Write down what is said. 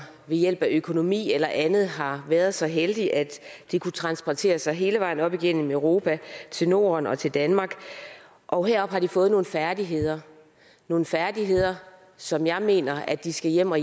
ved hjælp af økonomi eller andet har været så heldige at de kunne transportere sig hele vejen op igennem europa til norden og til danmark og heroppe har de fået nogle færdigheder nogle færdigheder som jeg mener at de skal hjem og